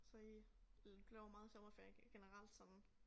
Så I laver meget sommerferie generelt sådan